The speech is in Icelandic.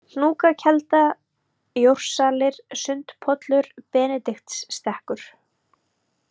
Hnúkakelda, Jórsalir, Sundpollur, Benediktsstekkur